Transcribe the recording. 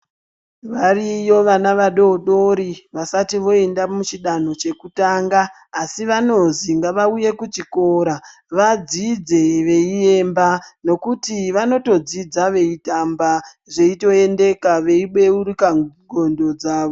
Variyo vana vadodori, vasati voenda muchidanho chekutanga, asi vanozi ngavauye kuchikora vadzidze veiemba ,nokuti vanotodzidza veitamba zveitoendeka veibeurika ngondo dzavo.